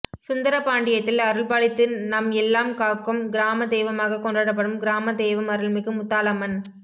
சுந்தரபாணடியத்தில் அருள்பாலித்து நம்எல்லாம் காக்கும் கிராம தெய்வமாகக் கொண்டப்படும் கிராம தெய்வம் அருள்மிகு முத்தாலாம்மன்